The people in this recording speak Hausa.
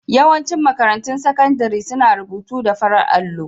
Yawancin makarantun sakandare suna rubutu da farar allo.